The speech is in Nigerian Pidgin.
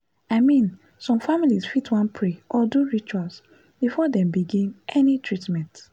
i mean some families fit wan pray or do rituals before dem begin any treatment.